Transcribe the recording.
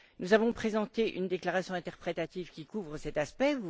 Nous avons présenté une déclaration interprétative qui couvre cet aspect.